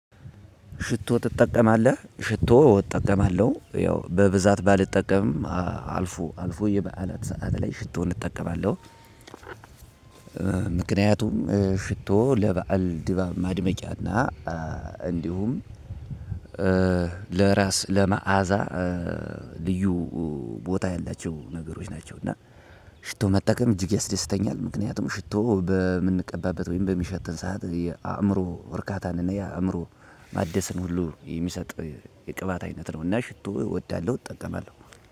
"ሽቶ ትጠቀማለህ?" ሽቶ እጠቀማለሁ። ያው በብዛት ባልጠቀምም አልፎ አልፎ የበዓላት ሰዓት ላይ ሽቶውን እጠቀማለሁ። ምክንያቱም ሽቶ ለበአል ድባብ ማድመቂያና እንዲሁም ለራስ ለመዓዛ ልዩ ቦታ ያላቸው ነገሮች ናቸው፤ እና ሽቶ መጠቀም እጅግ ያስደስተኛል። ምክንያቱም ሽቶ በምንቀባበት ወይም በሚሸትን ሰዓት የአእምሮ እርካታን እና የአእምሮ ማደስን ሁሉ የሚሰጥ የቅባት አይነት ነውና ሽቶ እወዳለሁ እጠቀማለሁ።